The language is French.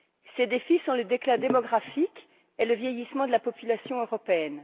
Ces défis sont le déclin démographique et le vieillissement de la population européenne.